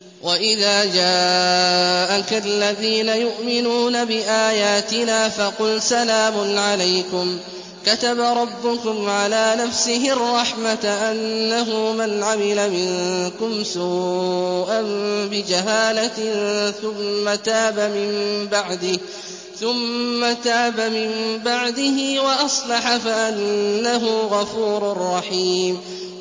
وَإِذَا جَاءَكَ الَّذِينَ يُؤْمِنُونَ بِآيَاتِنَا فَقُلْ سَلَامٌ عَلَيْكُمْ ۖ كَتَبَ رَبُّكُمْ عَلَىٰ نَفْسِهِ الرَّحْمَةَ ۖ أَنَّهُ مَنْ عَمِلَ مِنكُمْ سُوءًا بِجَهَالَةٍ ثُمَّ تَابَ مِن بَعْدِهِ وَأَصْلَحَ فَأَنَّهُ غَفُورٌ رَّحِيمٌ